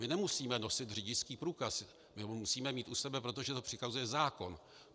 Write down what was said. My nemusíme nosit řidičský průkaz, my ho musíme mít u sebe, protože to přikazuje zákon.